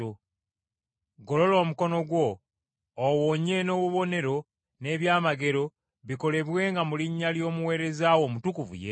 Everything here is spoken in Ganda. golola omukono gwo owonye, n’obubonero n’ebyamagero bikolebwenga mu linnya ly’Omuweereza wo Omutukuvu Yesu.”